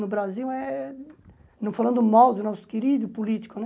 No Brasil é, não falando mal do nosso querido político, né?